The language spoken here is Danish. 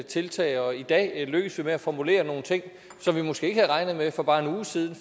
tiltag og i dag lykkes vi med at formulere nogle ting som vi måske ikke havde regnet med for bare en uge siden